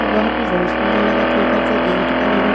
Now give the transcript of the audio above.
वह भी बहुत सुन्दर लगत हे एकर जो गेट बने हे।